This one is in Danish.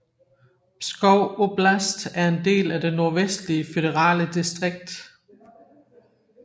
Pskov oblast er en del af det Nordvestlige føderale distrikt